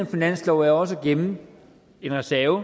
finanslov er jo også at gemme en reserve